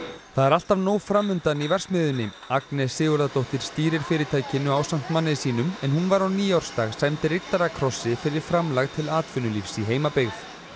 það er alltaf nóg fram undan í verksmiðjunni Agnes Sigurðardóttir stýrir fyrirtækinu ásamt manni sínum en hún var á nýársdag sæmd riddarakrossi fyrir framlag til atvinnulífs í heimabyggð